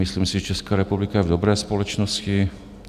Myslím si, že Česká republika je v dobré společnosti.